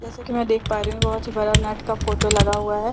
जैसा कि मैं देख पा रही हूं बहुत ही बड़ा नेट का फोटो लगा हुआ है।